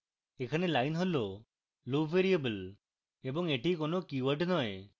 এখানে line হল loop variable এবং এটি কোনো keyword নয়